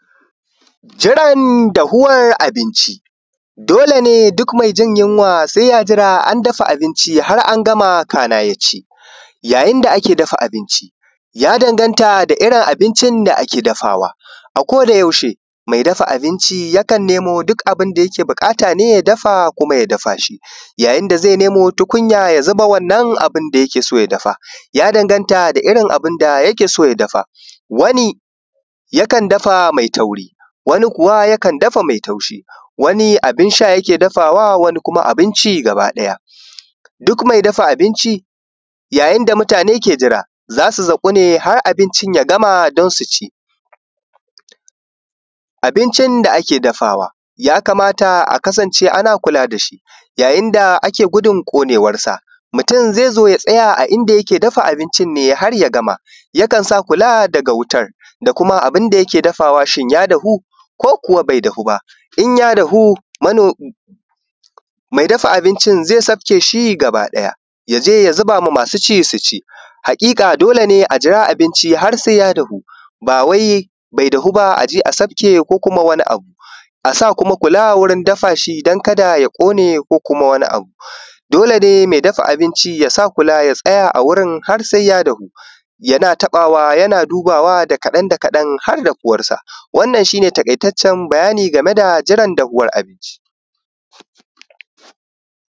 Jiran dafuwar abinci haka ne duk mai jin yunwa sai ya jira an dafa abinci har an gama kana ya ci. Yayin da ake dafa abinci ya danganta da irin abincin da ake dafawa a ko da yaushe mai dafa abinci yakan nemo duk abun da yake buƙata ne kuma ya dafa shi, yayin da zai nemo tukunya ya zuba wannan abun da yake so yake so ya dafa da irin abun da yake so ya dafa. wani yakan dafa mai tauri wani kuwa yakan dafa mai taushi, wani abun sha yake dafawa wani abinci ya dafawa baki ɗaya. Duk mai dafa abinci yayin da mutane ke jira za su zaku ne abinci ya gama don su ci. Abincin da ake dafawa ya kamata a kasance ana kula da shi yayin da ake gudun ƙonewarsa, mutum zai zo ya tsaya ne a idan yake dafa abincin ne har ya gama yakan sa kula daga wutar abun da yake dafawa shin ya dafu ko kuwa bai dafu ba, in ya dafu mai dafa abinci zai sauke shi baki ɗaya ya je ya zuba ma masu ci su ci. Dole ne a jira abinci har sai ya dafu ba wai bai dafu ba a je sauke ko wani abu, a sa kuma kula wurin dafa shi don kar ya kone ko kuma wani abu. Dole ne mai dafa abinci ya tsaya a wajen har sai ya dafu yana taɓawa yana dubawa da kaɗan da kaɗan har dafuwarsa. Wannan shi ne cikakken bayani game da dafuwar abinci.